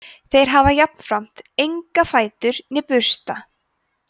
þeir hafa jafnframt enga fætur né bursta